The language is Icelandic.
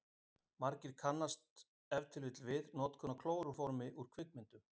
margir kannast ef til vill við notkun á klóróformi úr kvikmyndum